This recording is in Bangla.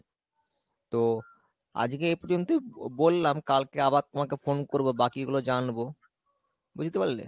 তো আজকে এই প্রজন্তই বলাম কালকে আবার তোমাকে phone করবো বাকি গুলো জানবো, বুজতে পারলে ?